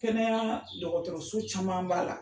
Kɛnɛya dɔgɔtɔrɔso caman b'a la.